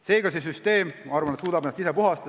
Seega, see süsteem, ma arvan, suudab end ise puhastada.